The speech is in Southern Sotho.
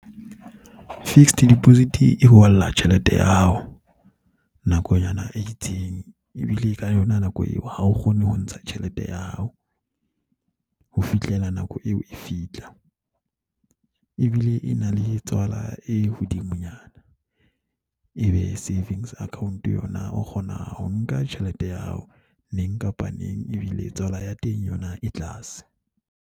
Fixed deposit e tjhelete ya hao nakonyana e itseng ebile ka yona nako eo ha o kgone ho ntsha tjhelete ya hao ho fihlela nako eo e fihla. Ebile e na le tswala e hodimonyana. Ebe savings account yona o kgona ho nka tjhelete ya hao neng kapa neng ebile tswala ya teng yona e tlase.